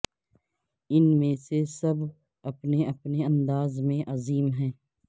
ان میں سے سب اپنے اپنے انداز میں عظیم ہیں